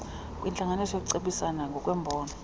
kwentlanganiso yokucebisana ngokwembono